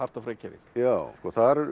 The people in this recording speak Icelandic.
of Reykjavík já þar